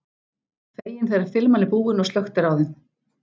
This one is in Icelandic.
Fegin þegar filman er búin og slökkt er á þeim.